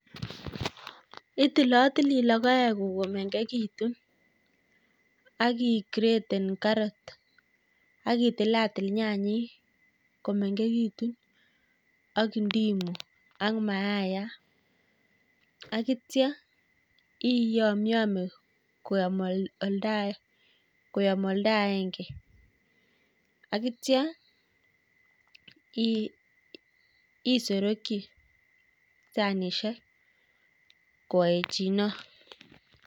Itilatili logoek komengegitu, ak i graten carot, ak itilatil nyanyek komengekitu, ak ndimu, ak mayaiyat. Ak ityo iyamyamye koyom oldo aenge. Ak ityo isugukchi sanishek koaechino.